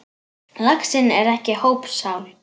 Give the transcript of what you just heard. Laxinn er ekki hópsál.